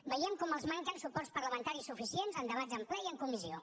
veiem com els manquen suports parlamentaris suficients en debats en ple i en comissió